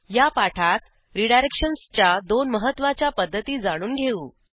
या पाठात रीडायरेक्शन्सच्या दोन महत्वाच्या पध्दती जाणून घेऊ